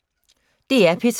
DR P3